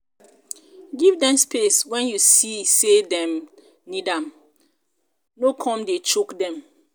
give dem space when you see sey dem need am no come dey choke dem